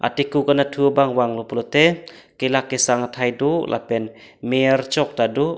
thekup anathu bang vang lo pulote kelak kesang athai do lapen me archok tado.